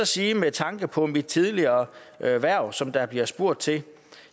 sige med tanke på mit tidligere hverv hverv som der bliver spurgt til at